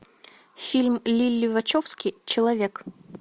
фильм лилли вачовски человек